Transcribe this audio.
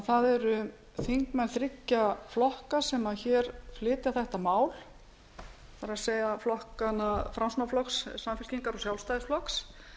það eru þingmenn þriggja flokka sem flytja þetta mál það er framsóknarflokks samfylkingar og sjálfstæðisflokks